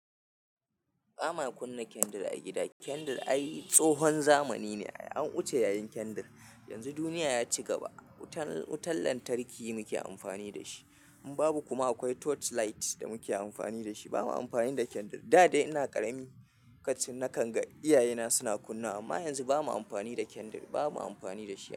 Ba ma kunna kendir a gida. Kendir ai tsohon zamani ne. An wuce yayin kendir. Yanzu duniya ya ci gaba. Wutan-wutan lantarki muke amfani da shi. In babu kuma akwai torchlight da muke amfani da shi. Bamu amfani da kendir da dai ina ƙarami, lokacin na kanga, iyayena suna kunnawa amma yanzu ba mu amfani da kendir, ba mu amfani da shi.